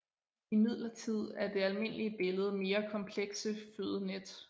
Imidlertid er det almindelige billede mere komplekse fødenet